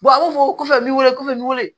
a b'a fɔ ko a bɛ n weele ko n weele